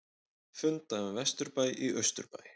Funda um vesturbæ í austurbæ